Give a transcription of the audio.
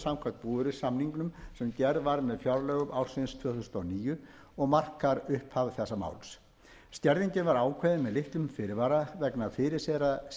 samkvæmt búvörusamningum sem gerð var með fjárlögum ársins tvö þúsund og níu og markar upphaf þessa máls skerðingin var ákveðin með litlum fyrirvara vegna fyrirséðra